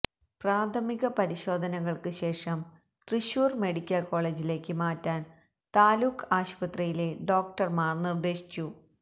പ്രാഥമിക പരിശോധനകള്ക്ക് ശേഷം തൃശ്ശൂര് മെഡിക്കല് കോളേജിലേക്ക് മാറ്റാൻ താലൂക്ക് ആശുപത്രിയില ഡോക്ടര്മാര് നിര്ദേശിച്ചു